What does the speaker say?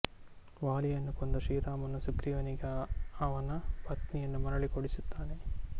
ವಾಲಿಯನ್ನು ಕೊಂದ ಶ್ರೀರಾಮನು ಸುಗ್ರೀವನಿಗೆ ಅವನ ಪತ್ನಿಯನ್ನು ಮರಳಿ ಕೊಡಿಸುತ್ತಾನೆ